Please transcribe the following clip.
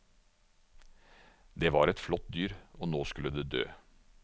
Det var et flott dyr, og nå skulle det dø.